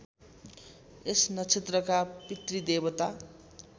यस नक्षत्रका पितृदेवता